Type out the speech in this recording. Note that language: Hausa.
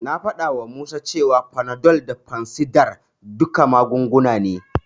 Na faɗawa Musa cewa Panadol da fansidar duka magunguna ne.